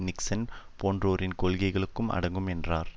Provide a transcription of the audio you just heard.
Nixon போன்றோரின் கொள்கைகளும் அடங்கும் என்றார்